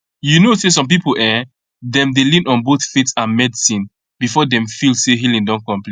you know say some people[um]dem dey lean on both faith and medicine before dem feel say healing don complete